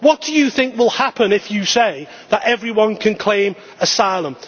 What do you think will happen if you say that everyone can claim asylum?